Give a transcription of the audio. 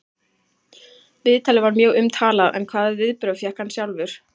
Viðtalið var mjög umtalað en hvaða viðbrögð fékk hann sjálfur?